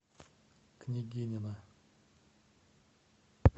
княгинино